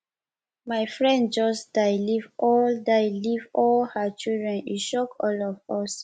my friend just die leave all die leave all her children e shock all of us